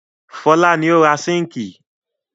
Fọlá ni ó ra síńkì.